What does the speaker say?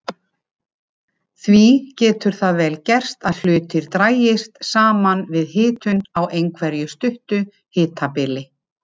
Því getur það vel gerst að hlutir dragist saman við hitun á einhverju stuttu hitabili.